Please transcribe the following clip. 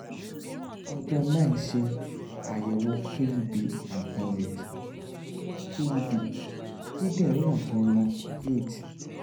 ọjọ́ nine ṣe àyẹ̀wò kub & pelvis: kub: kíndìnrín ọ̀tún wọn eight